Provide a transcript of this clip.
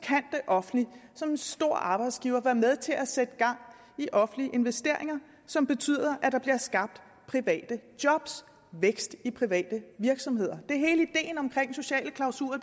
offentlige som en stor arbejdsgiver være med til at sætte gang i offentlige investeringer som betyder at der bliver skabt private jobs vækst i private virksomheder det er hele ideen omkring sociale klausuler